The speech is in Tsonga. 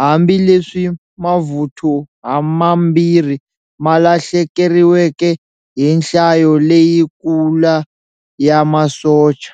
hambi leswi mavuthu hamambirhi ma lahlekeriweke hi nhlayo leyi kula ya masocha.